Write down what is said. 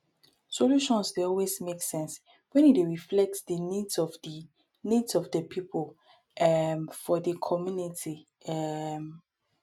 solutions dey always make sense when e dey reflect di needs of di needs of di pipo um for di commnity um